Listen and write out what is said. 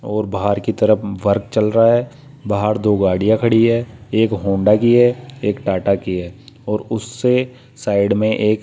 और बाहर की तरफ वर्क चल रहा है बाहर दो गाड़ियां खड़ी है एक होंडा की है एक टाटा की है और उससे साइड मे एक --